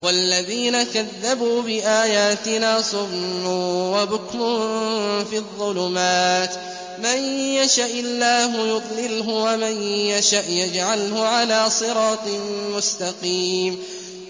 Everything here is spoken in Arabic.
وَالَّذِينَ كَذَّبُوا بِآيَاتِنَا صُمٌّ وَبُكْمٌ فِي الظُّلُمَاتِ ۗ مَن يَشَإِ اللَّهُ يُضْلِلْهُ وَمَن يَشَأْ يَجْعَلْهُ عَلَىٰ صِرَاطٍ مُّسْتَقِيمٍ